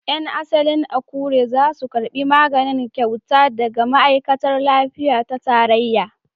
Yan asalin Akure za su karbi magani kyauta daga ma'aikatar lafiya ta tarayya.